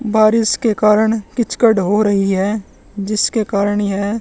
बारिश के कारण कीचकट हो रही है जिसके कारण येह--